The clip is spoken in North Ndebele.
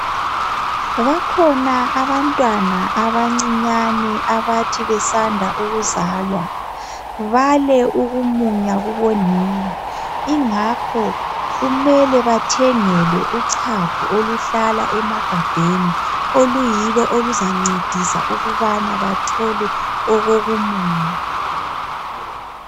Bakhona abantwana abancinyane abathi besanda ukuzalwa, bale ukumunya kubonina, ingakho kumele bathengelwe uchago oluhlala emagabheni oluyilo oluzancedisa ukubana bathole okokumunya.